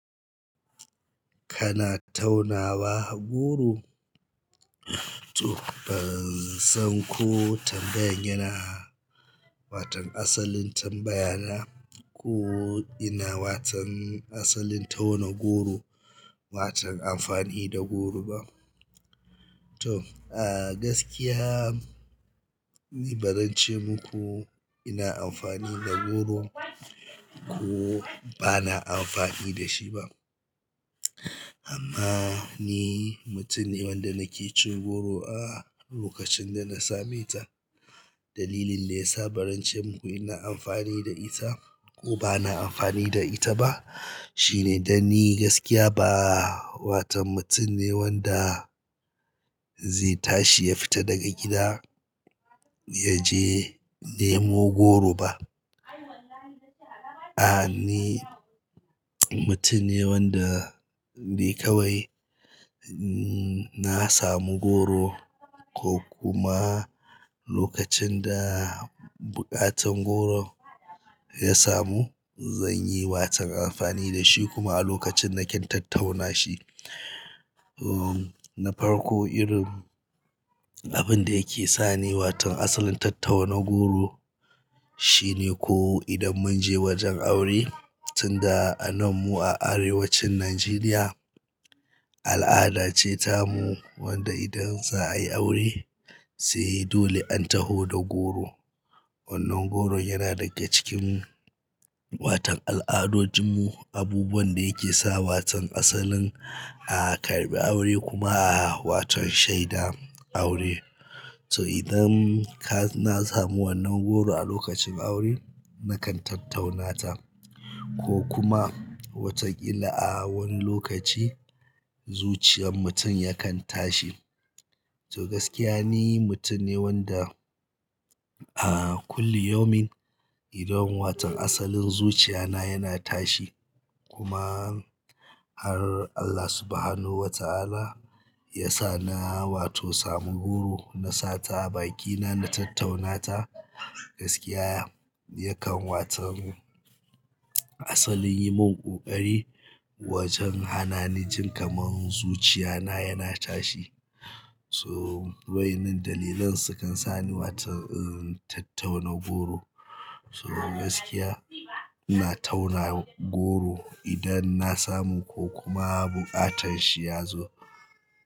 Kana tauna wa goro? To ban san ko tambayan yana waton asalin tambaya na ko ina waton asalin tauna goro, waton amfani da goro ba. To, a gaskiya ni bazan ce muku ina amfani da goro ko bana amfani da shi ba. Amma ni mutum ne wanda nake cin goro a lokacin da na same ta. Dalilin da ya sa baran ce muku ina amfani da ita ko bana amfani da ita ba shine dan ni gaskiya ba waton mutum ne wanda zai tashi ya fita daga gida ya je nemo goro ba. A'a, ni mutum ne wanda dai kawai na samu goro ko kuma lokacin da buƙatan goron ya samu, zan yi waton amfani da shi kuma a lokacin nakan tattauna shi. Na farko irin abin da yake sa ni waton asalin tattauna goro, shine ko idan mun je wajen aure tunda a nan mu a arewacin Najeriya, al'ada ce ta mu wanda idan za a yi aure, sai dole an taho da goro. Wannan goron yana daga cikin waton al'adojin mu, abubuwan da yake sa waton asalin a karɓi aure kuma a waton shaida aure. So idan ka na samu wannan goro a lokacin aure nakan tattauna ta ko kuma wataƙila a wani lokaci zuciyar mutum yakan tashi. To gaskiya ni mutum ne wanda a ƙulli yumin, idan waton asalin zuciya na yana tashi kuma har Allah Subhanahu wa Ta'ala ya sa na wato samu goro na sa ta a bakina na tattauna ta gaskiya yakan watom asalin yi mun ƙoƙari wajen hananin jin kamar zuciya na yana tashi. So, wa'innan dalilan sukan sa ni waton tattauna goro. So gaskiya ina tauna goro idan na samu ko kuma buƙatan shi ya zo.